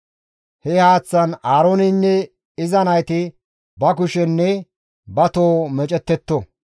He haaththaan Aarooneynne iza nayti ba kushenne ba toho meecettetto.